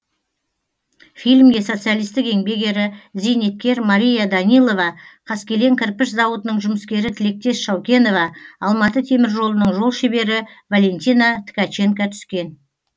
фильмге социалистік еңбек ері зейнеткер мария данилова қаскелен кірпіш зауытының жұмыскері тілектес шаукенова алматы теміржолының жол шебері валентина ткаченко түскен